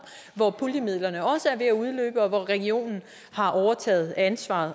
hvor puljemidlerne også er ved at udløbe og hvor regionen har overtaget ansvaret